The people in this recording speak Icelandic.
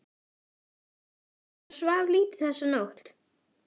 Maður svaf lítið þessa nótt.